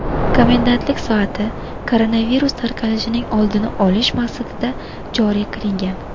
Komendantlik soati koronavirus tarqalishining oldini olish maqsadida joriy qilingan.